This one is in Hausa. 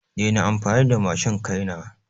Dena amfani da matshin kai na!